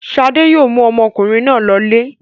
Ṣadé yóò mú ọmọkùnrin náà lọlé.